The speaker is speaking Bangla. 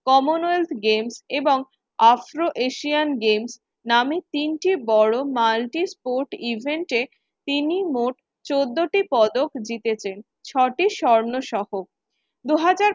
commonwealth games এবং afro-asian games নামে তিনটি বড় multi-sport event এ তিনি মোট চোদ্দ টি পদক জিতেছেন ছ টি স্বর্ণসহ। দু হাজার